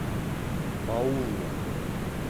паула